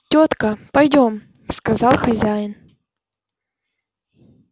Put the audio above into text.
тётка пойдём сказал хозяин